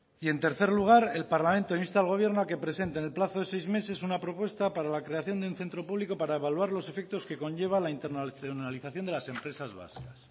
y en tercer lugar el parlamento insta al gobierno a que presente en el plazo de seis meses una propuesta para la creación de un centro público para evaluar los efectos que conlleva la internacionalización de las empresas vascas